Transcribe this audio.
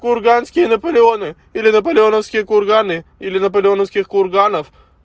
курганский наполеоны или наполеоновские курганы или наполеоновских курганов